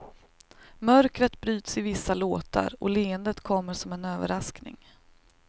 Mörkret bryts i vissa låtar och leendet kommer som en överraskning.